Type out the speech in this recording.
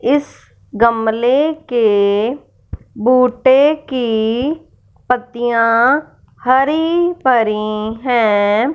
इस गमले के बूटे की पत्तियां हरी भरी हैं।